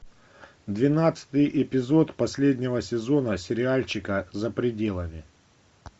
двенадцатый эпизод последнего сезона сериальчика за пределами